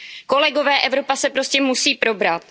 Kolegové, Evropa se prostě musí probrat!